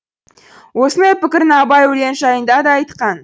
осындай пікірін абай өлең жайында да айтқан